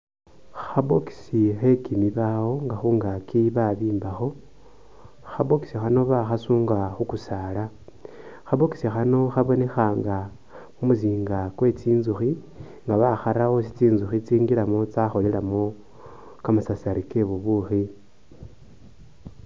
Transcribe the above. Kha boxi khwekimibaawo nga khungaki bambikho, kha box khano bakhasunga khukusaala, kha box khano khabonekha nga kumuzinga kwe tsinzukhi nga bakhara awo ulusi tsinzukhi tsingilamo tsakholelamo kamasasari ke bubukhi.